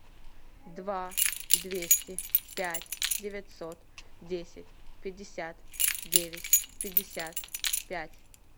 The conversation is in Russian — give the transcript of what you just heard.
два двести пять девятьсот десять пятьдесят девять пятьдесят пять